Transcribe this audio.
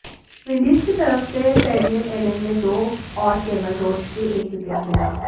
Windies की तरफ से फेबियन एलन ने दो और केमर रोच के एक विकेट मिला